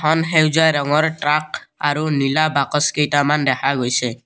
এখন সেউজীয়া ৰঙৰ ট্ৰাক আৰু নীলা বাকচ কেইটামান দেখা গৈছে।